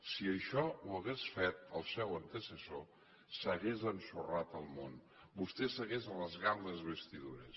si això ho hagués fet el seu antecessor s’hauria ensorrat el món vostè s’hauria esquinçat les vestidures